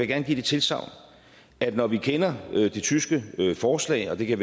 gerne give det tilsagn at når vi kender det tyske forslag og det kan